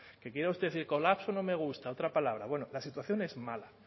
que quiera usted el colapso no me gusta otra palabra bueno la situación es mala